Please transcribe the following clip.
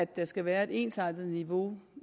der skal være et ensartet niveau